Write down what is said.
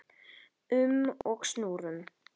um og snúrum.